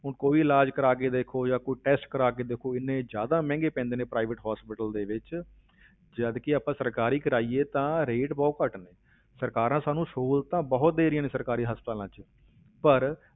ਹੁਣ ਕੋਈ ਇਲਾਜ਼ ਕਰਵਾਕੇ ਦੇਖੋ ਜਾਂ ਕੋਈ test ਕਰਵਾ ਕੇ ਦੇਖੋ, ਇੰਨੇ ਜ਼ਿਆਦਾ ਮਹਿੰਗੇ ਪੈਂਦੇ ਨੇ private hospital ਦੇ ਵਿੱਚ ਜਦਕਿ ਆਪਾਂ ਸਰਕਾਰੀ ਕਰਵਾਈਏ ਤਾਂ rate ਬਹੁਤ ਘੱਟ ਨੇ ਸਰਕਾਰਾਂ ਸਾਨੂੰ ਸਹੂਲਤਾਂ ਬਹੁਤ ਦੇ ਰਹੀਆਂ ਨੇ ਸਰਕਾਰੀ ਹਸਪਤਾਲਾਂ ਵਿੱਚ, ਪਰ